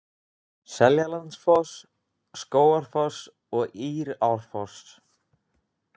Seljalandsfoss, Skógafoss og Írárfoss.